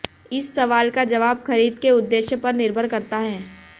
इस सवाल का जवाब खरीद के उद्देश्य पर निर्भर करता है